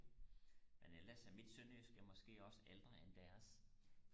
men ellers er mit sønderjysk måske også ældre end deres